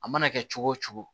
A mana kɛ cogo o cogo